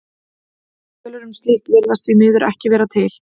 Tölur um slíkt virðast því miður ekki vera til.